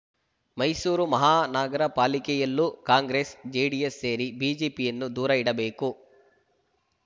ಮೈಸೂರು ಮಹಾನಗರಪಾಲಿಕೆಯಲ್ಲೂ ಕಾಂಗ್ರೆಸ್‌ಜೆಡಿಎಸ್‌ ಸೇರಿ ಬಿಜೆಪಿಯನ್ನು ದೂರ ಇಡಬೇಕು